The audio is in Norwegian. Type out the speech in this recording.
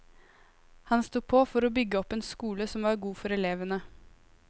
Han sto på for å bygge opp en skole som var god for elevene.